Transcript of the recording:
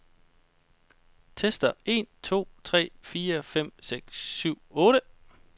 Tester en to tre fire fem seks syv otte.